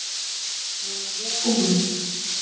Nema ég og hún.